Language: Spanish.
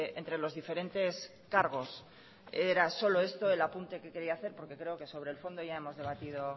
entre los diferentes cargos era solo esto el apunte que quería hacer porque creo que sobre el fondo ya hemos debatido